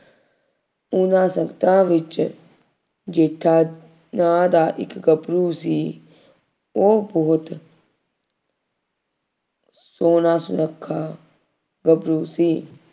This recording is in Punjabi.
ਉਹਨਾ ਸੰਗਤਾਂ ਵਿੱਚ ਜੇਠਾ ਨਾਂ ਦਾ ਇੱਕ ਗੱਭਰੂ ਸੀ। ਉਹ ਬਹੁਤ ਸੋਹਣਾ ਸੁਨੱਖਾ ਗੱਭਰੂ ਸੀ।